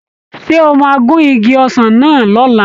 Ṣé o máa gun igi ọsàn náà lọ̀la?